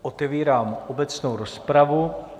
Otevírám obecnou rozpravu.